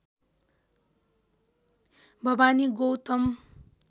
Bhawani Gautam